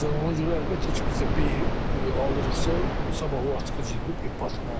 Məsələn, ona görə əlbəttə ki, bizdə beh alırıqsa, sabah o atqaz edəndə beh batmalıdır.